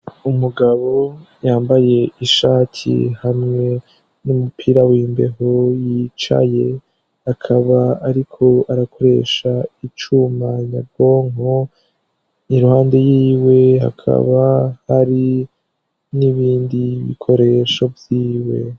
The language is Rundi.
Umugabo yambaye ishati hamwe n'umupira w'imbeho yicaye, akaba ariko arakoresha icuma nyabwonko, iruhande yiwe hakaba hari n'ibindi bikoresho vyiwe.